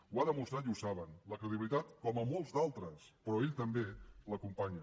ho ha demostrat i ho saben la credibilitat com a molts d’altres però a ell també l’acompanya